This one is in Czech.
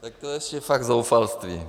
Tak to už je fakt zoufalství.